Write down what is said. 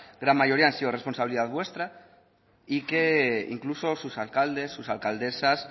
gran mayoría han sido responsabilidad vuestra y que incluso sus alcaldes sus alcaldesas